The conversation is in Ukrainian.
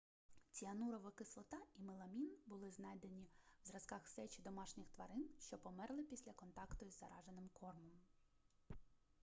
ціанурова кислота і меламін були знайдені в зразках сечі домашніх тварин що померли після контакту із зараженим кормом